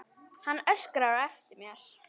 Hann öskraði á eftir mér.